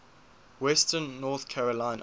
western north carolina